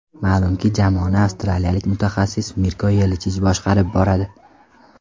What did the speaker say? Ma’lumki, jamoani avstraliyalik mutaxassis Mirko Yelichich boshqarib boradi.